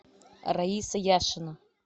раиса яшина